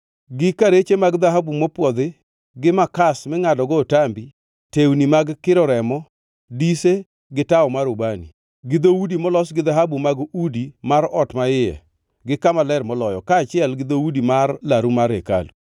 gi karache mag dhahabu mopwodhi, gi makas mingʼadogo otambi, tewni mag kiro remo, dise, gi tawo mar ubani; gi dhoudi molos gi dhahabu mag udi mar ot maiye gi Kama Ler Moloyo, kaachiel gi dhoudi mar laru mar hekalu.